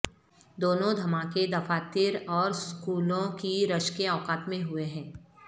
دونوں دھماکے دفاتر اور سکولوں کی رش کے اوقات میں ہوئے ہیں